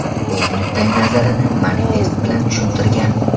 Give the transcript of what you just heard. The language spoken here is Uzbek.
U o‘z nuqtayi nazarini manifest bilan tushuntirgan.